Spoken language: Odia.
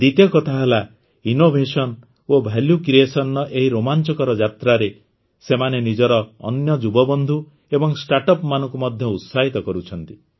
ଦ୍ୱିତୀୟ କଥା ହେଲା ଇନ୍ନୋଭେସନ୍ ଓ ଭାଲ୍ୟୁ କ୍ରିଏସନ୍ର ଏହି ରୋମାଂଚକର ଯାତ୍ରାରେ ସେମାନେ ନିଜର ଅନ୍ୟ ଯୁବବନ୍ଧୁ ଏବଂ ଷ୍ଟାର୍ଟଅପ୍ ମାନଙ୍କୁ ମଧ୍ୟ ଉତ୍ସାହିତ କରୁଛନ୍ତି